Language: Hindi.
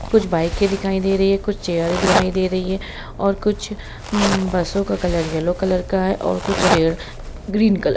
कुछ बाइके दिखाई दे रही है कुछ चेयरे दिखाई दे रही है और कुछ बसों का कलर यलो कलर का है और कुछ पेड़ ग्रीन कलर ।